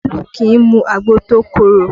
Olu kì í mu agbo tó korò